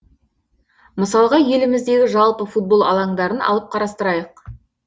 мысалға еліміздегі жалпы футбол алаңдарын алып қарастырайық